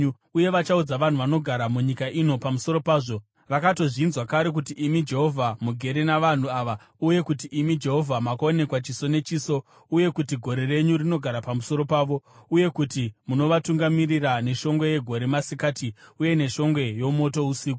Uye vachaudza vanhu vanogara munyika ino pamusoro pazvo. Vakatozvinzwa kare kuti imi, Jehovha, mugere navanhu ava uye kuti imi, Jehovha, makaonekwa chiso nechiso, uye kuti gore renyu rinogara pamusoro pavo, uye kuti munovatungamirira neshongwe yegore masikati uye neshongwe yomoto usiku.